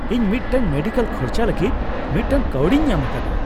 ᱤᱧ ᱢᱤᱫᱴᱟᱝ ᱢᱮᱰᱤᱠᱮᱞ ᱠᱷᱚᱨᱪᱟ ᱞᱟᱹᱜᱤᱫ ᱢᱤᱫᱴᱟᱝ ᱠᱟᱹᱣᱰᱤᱧ ᱧᱟᱢ ᱟᱠᱟᱫᱟ ᱾